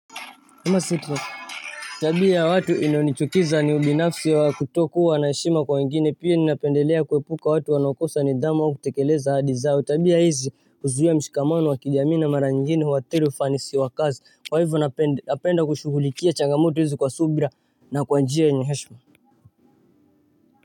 Nama sitwa. Tabia watu iliyonichukiza ni ubinafsi wa kutokuwa na heshima kwa wengine. Pia ninapendelea kuepuka watu wanaokosa nidhamu kutekeleza ahadi zao. Tabia hizi huzuia mshikamano wa kijamii na mara nyingine huathiri ufanisi wa kazi. Kwa hivyo napenda napenda kushughulikia changamoto hizi kwa subira na kwa njia yenye heshima.